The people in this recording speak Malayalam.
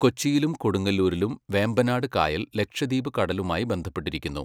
കൊച്ചിയിലും കൊടുങ്ങല്ലൂരിലും വേമ്പനാട് കായൽ ലക്ഷദ്വീപ് കടലുമായി ബന്ധപ്പെട്ടിരിക്കുന്നു.